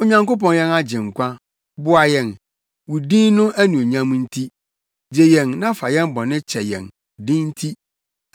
Onyankopɔn yɛn Agyenkwa, boa yɛn, wo din no anuonyam nti; gye yɛn na fa yɛn bɔne kyɛ yɛn wo din nti.